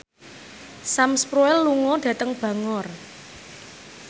Sam Spruell lunga dhateng Bangor